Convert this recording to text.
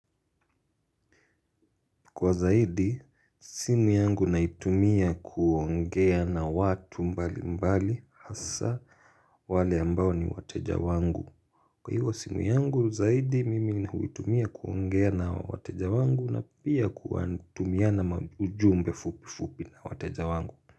Kwa zaidi, simu yangu naitumia kuongea na watu mbali mbali hasa wale ambao ni wateja wangu. Kwa hivyo simu yangu, zaidi mimi huitumia kuongea na wateja wangu na pia kutumiana ujumbe fupi fupi na wateja wangu.